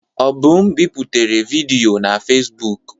Obum biputere vidiyo na Fezbụk.